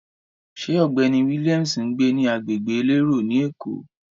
Ṣé ọ̀gbẹ́ni Williams ń gbé ní agbègbè elérò ni Èkó?